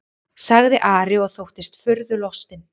sagði Ari og þóttist furðulostinn.